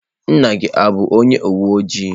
Nna gi o bu onye uwe ojii?